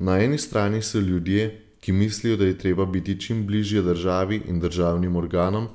Na eni strani so ljudje, ki mislijo, da je treba biti čim bližje državi in državnim organom